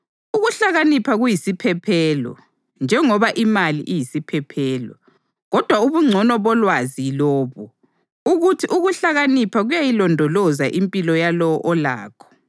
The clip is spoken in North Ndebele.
Ukuhlakanipha kuyisiphephelo njengoba imali iyisiphephelo, kodwa ubungcono bolwazi yilobu: ukuthi ukuhlakanipha kuyayilondoloza impilo yalowo olakho.